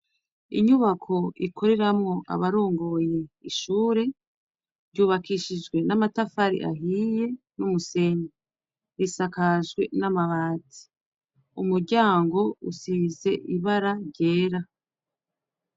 Inyubako ikoreramwo abarongoye ishure, ryubakishijwe n'amatafari ahiye n'umusenyi. Isakajwe n'amabati. Umuryango ufise ibara ryera.